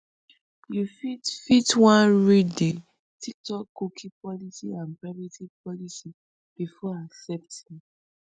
you fit fit wan read di tiktokcookie policyandprivacy policybefore accepting